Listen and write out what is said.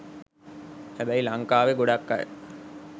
හැබැයි ලංකාවේ ගොඩක් අය